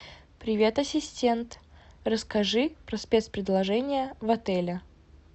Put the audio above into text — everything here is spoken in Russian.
привет ассистент расскажи про спец предложения в отеле